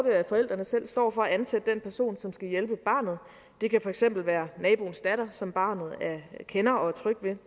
at forældrene selv står for at ansætte den person som skal hjælpe barnet det kan for eksempel være naboens datter som barnet kender og er tryg ved